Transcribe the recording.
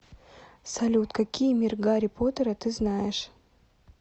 салют какие мир гарри поттера ты знаешь